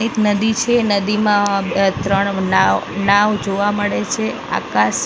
એક નદી છે નદીમાં અ ત્રણ નાવ નાવ જોવા મળે છે આકાસ--